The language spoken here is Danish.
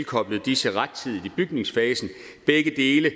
koblet disse rettidigt på i bygningsfasen begge dele